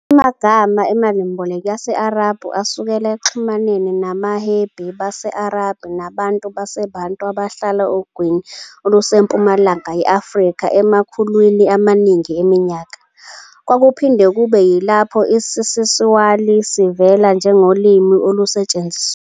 Amagama emalimboleko yesi-Arabhu asukela ekuxhumaneni nabahwebi base-Arabia nabantu baseBantu abahlala ogwini olusempumalanga ye-Afrika emakhulwini amaningi eminyaka, okwakuphinde kube yilapho isiSwahili sivela njengolimi olusetshenziswayo.